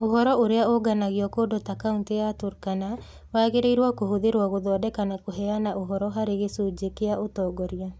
Ũhoro ũrĩa ũũnganagio kũndũ ta Kaunti ya Turkana wagĩrĩirũo kũhũthĩrũo gũthondeka na kũheana ũhoro harĩ "gĩcunjĩ kĩa ũtongoria".